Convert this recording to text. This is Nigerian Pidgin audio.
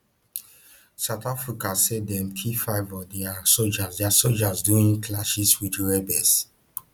south africa say dem kill five of dia sojas dia sojas during clashes wit rebels